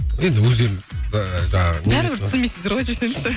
енді өздерің ыыы жаңағы бәрібір түсінбейсіздер ғой десеңізші